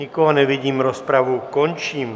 Nikoho nevidím, rozpravu končím.